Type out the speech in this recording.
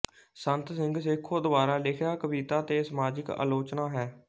ਸੰਤ ਸਿੰਘ ਸੇਖੋਂ ਦੁਆਰਾ ਲਿਖਿਆ ਕਵਿਤਾ ਤੇ ਸਮਾਜਕ ਆਲੋਚਨਾ ਹੈ